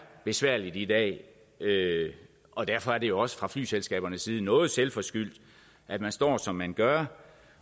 besværligt i dag og derfor er det jo også fra flyselskabernes side noget selvforskyldt at man står som man gør